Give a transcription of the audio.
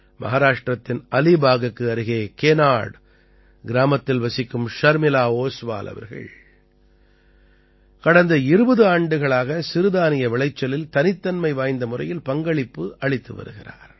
மஹாராஷ்டிரத்தின் அலீபாகுக்கு அருகே கேநாட் கிராமத்தில் வசிக்கும் ஷர்மிளா ஓஸ்வால் அவர்கள் கடந்த 20 ஆண்டுகளாக சிறுதானிய விளைச்சலில் தனித்தன்மை வாய்ந்த முறையில் பங்களிப்பு அளித்து வருகிறார்